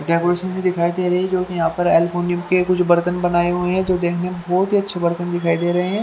ये कुड्सी भी दिखाई दे रही है जो की यहा पर के कुछ बर्थन बनाये हुए है जो देखने में बहोत ही अच्छे बर्थन दिखाई दे रहे है।